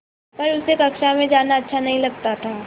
पर उसे कक्षा में जाना अच्छा नहीं लगता था